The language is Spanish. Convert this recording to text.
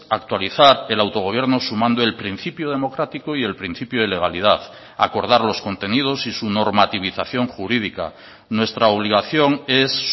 actualizar el autogobierno sumando el principio democrático y el principio de legalidad acordar los contenidos y su normativización jurídica nuestra obligación es